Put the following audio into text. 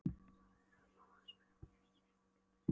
svaraði Bóas fjandsamlega og horfði í gaupnir sér.